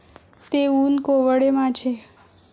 ते ऊन कोवळे माझे